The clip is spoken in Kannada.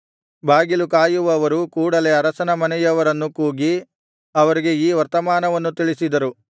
ಬಾಗಿಲು ಕಾಯುವವರು ಕೂಡಲೆ ಅರಸನ ಮನೆಯವರನ್ನು ಕೂಗಿ ಅವರಿಗೆ ಈ ವರ್ತಮಾನವನ್ನು ತಿಳಿಸಿದರು